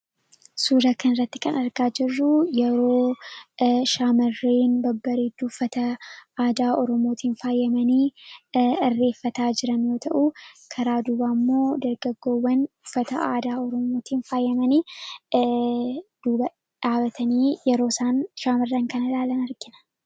Suura kana irratti kan argaa jirruu yeroo shaamarreen babbareedanii uufata aadaa Ormootiin faayamanii hirreeffataa jiran yoo ta'u. karaa dubaammoo dargaggoowwan uffata aadaa Oromootin faayamanii duuba dhaabatanii yeroo isaan shaamarran kan ilaalan argina.